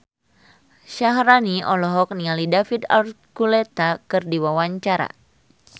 Syaharani olohok ningali David Archuletta keur diwawancara